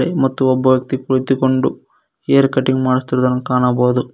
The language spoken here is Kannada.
ಮತ್ತು ಒಬ್ಬ ವ್ಯಕ್ತಿ ಕುಳಿತುಕೊಂಡು ಹೇರ್ ಕಟಿಂಗ್ ಮಾಡಸ್ತಿರುದನ್ನು ಕಾಣಬಹುದು.